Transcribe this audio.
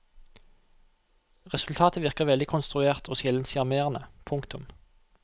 Resultatet virker veldig konstruert og sjelden sjarmerende. punktum